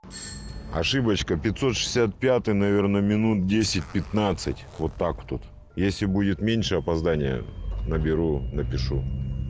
ошибочка пятьсот шестьдесят пятый наверное минут десять пятнадцать вот так тут если будет меньше опоздание наберу напишу